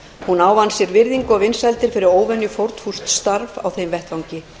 hún ávann sér virðingu og vinsældir fyrir óvenjufórnfúst starf á þeim vettvangi